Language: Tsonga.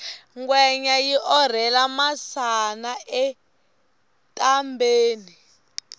ngwenya yi orhela masana etambheni